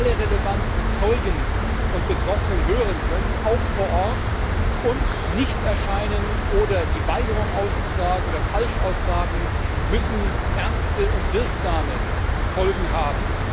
Wir müssen alle relevanten Zeugen und Betroffenen hören können, auch vor Ort, und Nichterscheinen oder die Weigerung auszusagen oder Falschaussagen müssen ernste und wirksame Folgen haben.